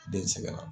Den sɛgɛn na